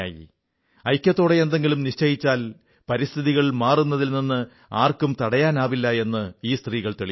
ഐക്യത്തോടെ എന്തെങ്കിലും നിശ്ചയിച്ചാൽ പരിസ്ഥിതികൾ മാറുന്നതിൽ നിന്ന് ആർക്കും തടയാനാവില്ല എന്ന് ഈ സ്ത്രീകൾ തെളിയിച്ചു